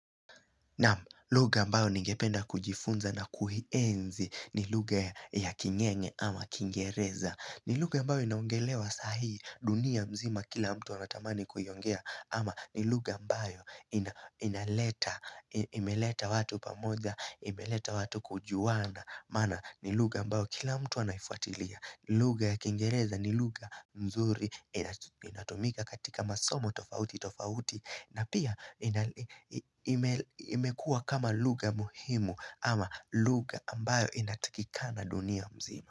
Naam lugha ambayo ningependa kujifunza na kuienzi ni lugha ya kingenge ama kingereza ni lugha ambayo inaongelewa sahii dunia mzima kila mtu anatamani kuiongea ama ni lugha ambao inaleta, imeleta watu pamoja, imeleta watu kujuana maana ni lugha ambayo kila mtu anaifuatilia ni lugha ya kingereza ni lugha mzuri, inatumika katika masomo tofauti tofauti na pia imekua kama lugha muhimu ama lugha ambayo inatakikana dunia mzima.